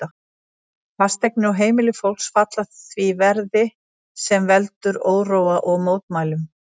Fasteignir og heimili fólks falla því verði, sem veldur óróa og mótmælum.